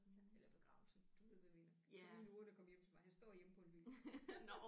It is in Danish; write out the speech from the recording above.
Eller begravelse du ved hvad jeg mener komme i en urne og komme hjem til mig han står hjemme på en hylde